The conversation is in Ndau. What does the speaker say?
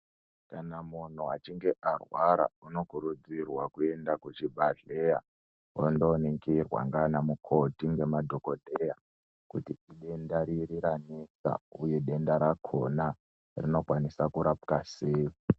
Kana munhu achinge arwara unokurudzirwa kuenda kuzvibadhleya ondoningirwa nganamukoti ngemadhokodheya kuti idenda riri ranesa uye denda rakona rinokwanisa kurapwa sei.